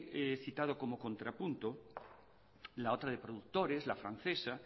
he citado como contrapunto la otra de productores la francesa